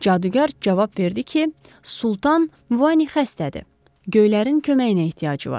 Cadugar cavab verdi ki, Sultan Muvani xəstədir, Göylərin köməyinə ehtiyacı var.